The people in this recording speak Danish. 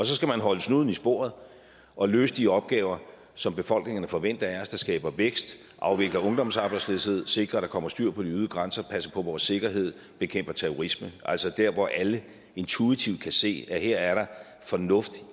så skal man holde snuden i sporet og løse de opgaver som befolkningerne forventer af os der skaber vækst og afvikler ungdomsarbejdsløshed sikre at der kommer styr på de ydre grænser passe på vores sikkerhed bekæmpe terrorisme altså der hvor alle intuitivt kan se at her er der fornuft